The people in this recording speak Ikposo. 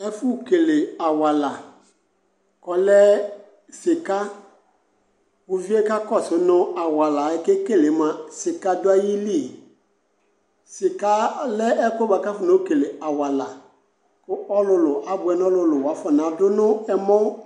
Ɛfʋ kele awala k''ɔlɛ sɩka , uvie kakɔsʋ nʋ nhʋ awala yɛ k'ekele uɛ mʋa, dika dʋ ayili? Sɩka ɔlɛ ɛkʋɛ bʋa kafɔno kele awala, kʋ ɔlʋlʋ abʋɛ n'ɔlʋlʋ , wafɔnadʋ n'ɛmɔ